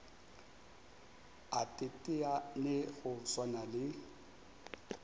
a teteane go swana le